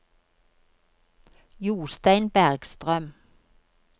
Jostein Bergstrøm